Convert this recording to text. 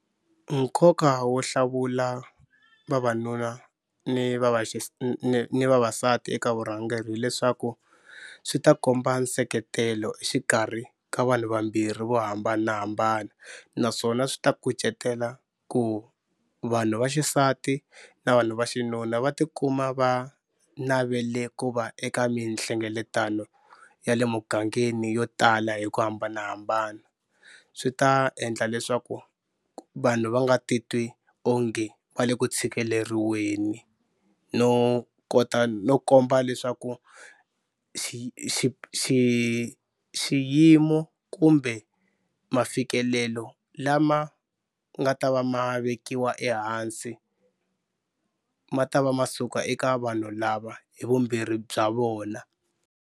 Nkoka wo hlawula vavanuna ni ni vavasati eka vurhangeri hileswaku swi ta komba nseketelo exikarhi ka vanhu vambirhi vo hambanahambana naswona swi ta kucetela ku vanhu va xisati na vanhu va xinuna va tikuma va navele ku va eka mihlengeletano ya le mugangeni yo tala hi ku hambanahambana. Swi ta endla leswaku vanhu va nga ti twi onge va le ku tshikeleriwa no kota no komba leswaku xi xi xi xiyimo kumbe mafikelelo lama nga ta va ma vekiwa ehansi ma ta va ma suka eka vanhu lava hi vumbirhi bya vona.